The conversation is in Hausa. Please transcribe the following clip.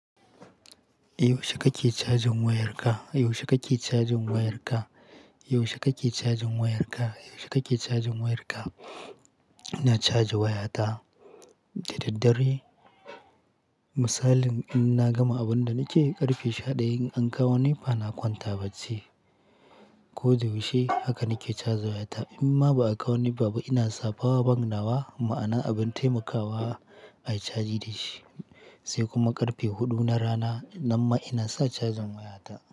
Yaushe kake cajin wayarka? Yaushe kake cajin wayarka? Yaushe kake cajin wayarka? Yaushe kake cajin wayarka? Ina caja wayata da daddare. Misali in na gama abin da nake yi ƙarfe sha ɗayan an kawo nepa na kwanta bacci. Ko da yaushe haka nake caja wayata. In ma ba a kawo neba, ina sa power bank nawa ma'ana abin taimakawa a yi cajin da shi sai kuma ƙarfe huɗu na rana nan ma ina sa cajin wayata.